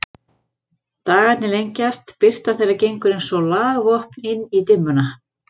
Dagarnir lengjast, birta þeirra gengur eins og lagvopn inn í dimmuna.